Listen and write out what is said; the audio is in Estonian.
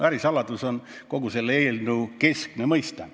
" Ärisaladus on kogu selle eelnõu keskne mõiste.